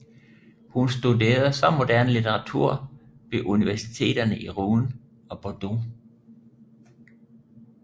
Hun studerede så moderne litteratur ved universiteterne i Rouen og Bordeaux